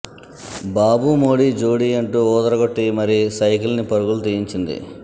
బాబు మోడీ జోడీ అంటూ వూదరగొట్టి మరీ సైకిల్ ని పరుగులు తీయించింది